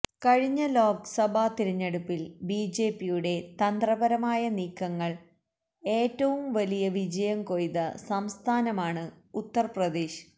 കഴിഞ്ഞ ലോക്സഭാ തിരഞ്ഞെടുപ്പില് B J പിയുടെ തന്ത്രപരമായ നീക്കങ്ങള് ഏറ്റവും വലിയ വിജയം കൊയ്ത സംസ്ഥാനമാണ് ഉത്തര് പ്രദേശ്